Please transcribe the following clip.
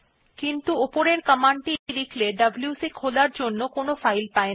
কিন্তু উপরের কমান্ড টি লিখলে ডব্লিউসি খোলার জন্য কোনো ফাইল পায়না